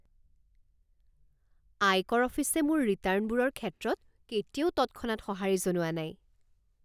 আয়কৰ অফিচে মোৰ ৰিটাৰ্ণবোৰৰ ক্ষেত্ৰত কেতিয়াও তৎক্ষণাৎ সঁহাৰি জনোৱা নাই।